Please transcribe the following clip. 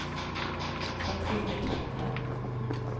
Kathrine Kleppe